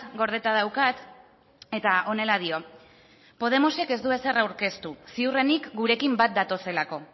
gordeta daukat eta honela dio podemosek ez du ezer aurkeztu ziurrenik gurekin bat datozelako